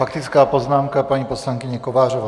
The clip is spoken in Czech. Faktická poznámka paní poslankyně Kovářové.